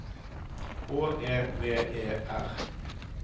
H E V E R